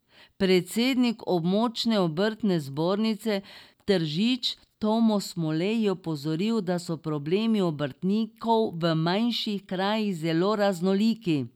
Predsednik območne obrtne zbornice Tržič Tomo Smolej je opozoril, da so problemi obrtnikov v manjših krajih zelo raznoliki.